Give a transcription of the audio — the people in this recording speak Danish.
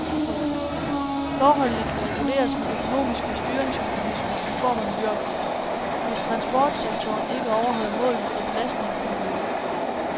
Forholdene kan reguleres med økonomiske styringsmekanismer i form af miljøafgifter, hvis transportsektoren ikke overholder målene for belastningen af miljøet.